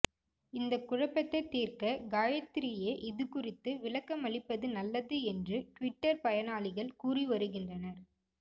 இந்த குழப்பத்தை தீர்க்க காயத்ரியே இதுகுறித்து விளக்கமளிப்பது நல்லது என்று டுவிட்டர் பயனாளிகள் கூறி வருகின்றனர்